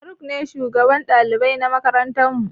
Faruk ne shugaban ɗalibai na makarantar mu.